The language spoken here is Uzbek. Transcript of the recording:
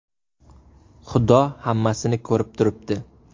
Xudo hammasini ko‘rib turibdi.